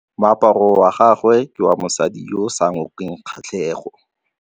Moaparô wa gagwe ke wa mosadi yo o sa ngôkeng kgatlhegô.